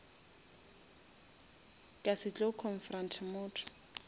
ka se tlo confront motho